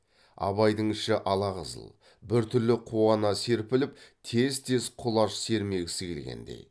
абайдың іші ала қызыл біртүрлі қуана серпіліп тез тез құлаш сермегісі келгендей